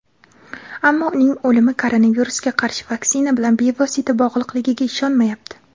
ammo uning o‘limi koronavirusga qarshi vaksina bilan bevosita bog‘liqligiga ishonmayapti.